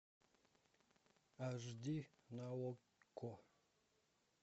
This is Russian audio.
аш ди на окко